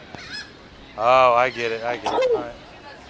Svona í meðallagi.